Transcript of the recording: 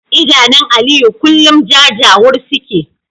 Idanun Aliyu kullum jajawur suke